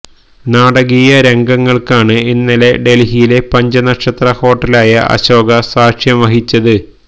നാടകീയ രംഗങ്ങള്ക്കാണ് ഇന്നലെ ഡല്ഹിയിലെ പഞ്ചനക്ഷത്ര ഹോട്ടലായ അശോക സാക്ഷ്യം വഹിച്ചത്